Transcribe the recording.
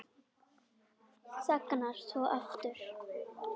Þagnar svo aftur.